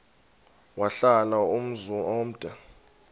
wahlala umzum omde